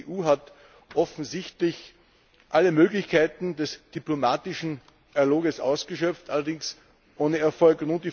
Die EU hat offensichtlich alle Möglichkeiten des diplomatischen Dialogs ausgeschöpft, allerdings ohne Erfolg.